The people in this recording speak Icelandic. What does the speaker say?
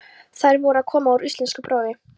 Þær voru að koma úr íslenskuprófi.